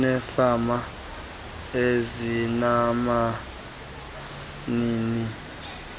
neefama ezinabanini